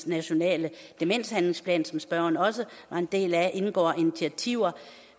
nationale demenshandlingsplan som spørgeren også var en del af indgår initiativer